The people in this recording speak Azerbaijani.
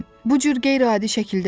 Bu cür qeyri-adi şəkildə yox.